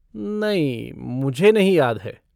नहीं, मुझे नहीं याद है।